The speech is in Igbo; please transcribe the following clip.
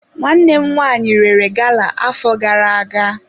Nwanne m nwanyi rere gala afo gara aga.